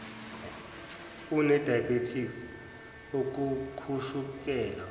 une diabetes ukukhushukelwa